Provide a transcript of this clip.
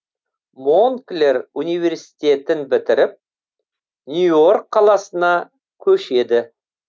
монклер университетін бітіріп нью йорк қаласына көшеді